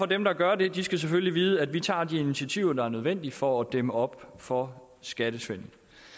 dem der gør det det selvfølgelig vide at vi tager de initiativer der er nødvendige for at dæmme op for skattesvindel